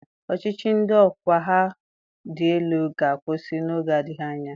Ọchịchị ndị ọkwa ha dị elu ga-akwụsị oge na-adịghị anya.